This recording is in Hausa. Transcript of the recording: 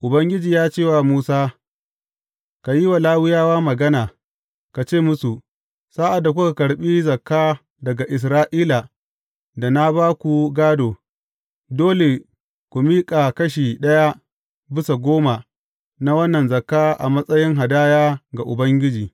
Ubangiji ya ce wa Musa, Ka yi wa Lawiyawa magana, ka ce musu, Sa’ad da kuka karɓi zakka daga Isra’ila da na ba ku gādo, dole ku miƙa kashi ɗaya bisa goma na wannan zakka a matsayin hadaya ga Ubangiji.